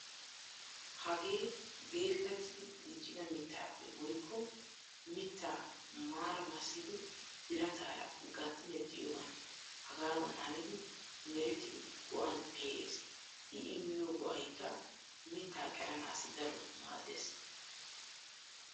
Hagee geellatidi diccida mittaappe woykko mittaa maraa massidi birataara gatti mexxiyogan hagaadan hanidi merettidi go'an pee'ees. I immiyo ga'aykka mittaa qeranaassi daroto maaddeees.